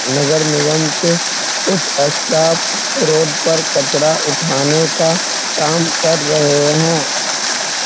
नगर निगम के कुछ स्टाफ रोड पर कचरा उठाने का काम कर रहें हैं।